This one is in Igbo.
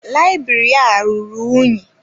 Layibiri a rụrụ ụnyi.